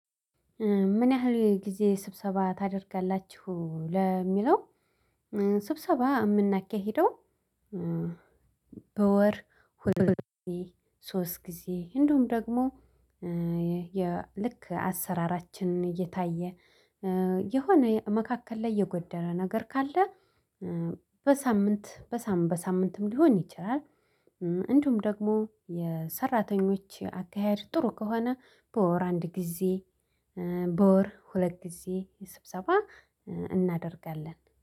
ምን? ያህል ጊዜ ስብሰባ ታደርጋላችሁ ለሚለው ስብሰባ የምናኬሂደው። በወር ሁለት ጊዜ ሶስት ጊዜ እንደውም ደግሞ የልክ አሰራራችንን እየታየ የሆነ መካከል ላይ የጎደረ ነገር ካለ በሳምንት በሳምንት በሳምንትም ሊሆን ይችላል። እንዲሁም ደግሞ የሰራተኞች አካሄድ ጥሩ ከሆነ በወር አንድ ጊዜ በወር ሁለት ጊዜ ስብሰባ። እናደርጋለን